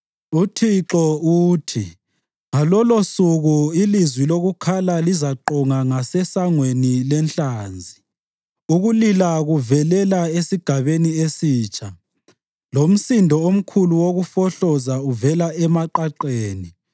UThixo, uthi, “Ngalolosuku ilizwi lokukhala lizaqonga ngaseSangweni leNhlanzi, ukulila kuvelela esiGabeni eSitsha lomsindo omkhulu wokufohloza uvela emaqaqeni.